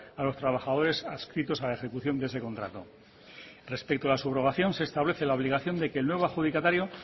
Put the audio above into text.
a los trabajadores adscritos a la ejecución de ese contrato respecto a la subrogación se establece la obligación de que el nuevo adjudicatario